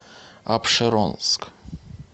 апшеронск